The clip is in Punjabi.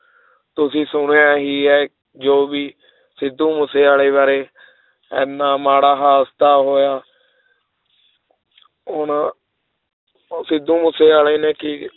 ਤੁਸੀਂ ਸੁਣਿਆ ਹੀ ਹੈ ਜੋ ਵੀ ਸਿੱਧੂ ਮੂਸੇਵਾਲੇ ਬਾਰੇ ਇੰਨਾ ਮਾੜਾ ਹਾਦਸਾ ਹੋਇਆ ਉਹਨਾਂ ਉਹ ਸਿੱਧੂ ਮੂਸੇਵਾਲੇ ਨੇ ਕੀ